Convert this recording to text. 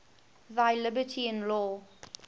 thy liberty in law